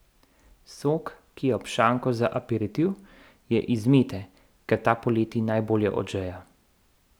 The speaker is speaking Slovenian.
Sok, ki je ob šanku za aperitiv, je iz mete, ker ta poleti najbolje odžeja.